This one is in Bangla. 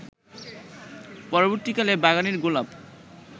পরবর্তীকালে বাগানের গোলাপ